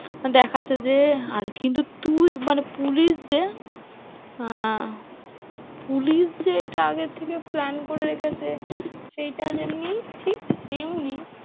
দেখাচ্ছে যে আর কিন্তু তুই মানে পুলিশ যে আহ পুলিশ যে এটার আগে থেকে plan করে রেখেছে সেইটা যেমনি তেমনই